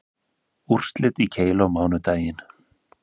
Úrslit í keilu á mánudaginn